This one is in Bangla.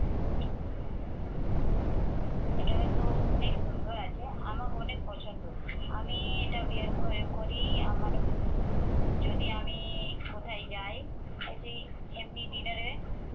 এটাও তো অনেক সুন্দর আছে। আমাকে অনেক পছন্দ। আমি এটা bear করে করি। আমার যদি আমি কোথায় যাই অ্যাইসি এমনি dinner এ